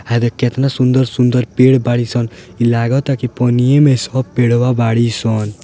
हे देख कतना सुंदर-सुंदर पेड़ बाड़ीसन इ लागता कि पनिये में सब पेड़ बाड़ीसन।